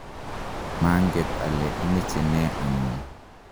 manget ale imeche ne anyon